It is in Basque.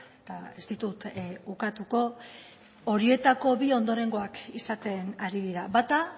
eta ez ditut ukatuko horietako bi ondorengoak izaten ari dira bata